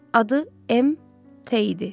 Adı MT idi.